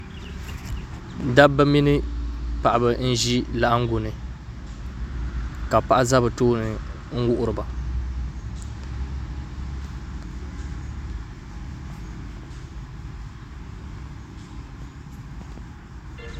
Dabba mini paɣaba n ʒi laɣangu ni ka paɣa ʒɛ bi tooni n wuhuriba